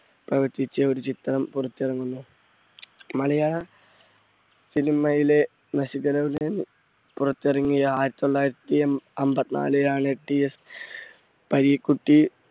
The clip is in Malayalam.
പ്രവർത്തിച്ച് ഒരു ചിത്രം പുറത്തിറങ്ങുന്നത്. മലയാള cinema യിലെ പുറത്തിറങ്ങിയ ആയിരത്തി തൊള്ളായിരത്തി അ~അമ്പത്തി നാലിൽ ആണ് TS പരീക്കുട്ടി